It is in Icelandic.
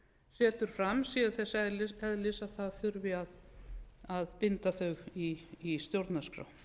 setur fram séu þess eðlis að það þurfi að binda þau í stjórnarskrá